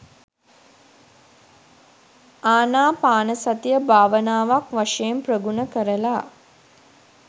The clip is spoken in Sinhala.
ආනාපානසතිය භාවනාවක් වශයෙන් ප්‍රගුණ කරලා